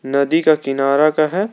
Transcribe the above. नदी का किनारा का है।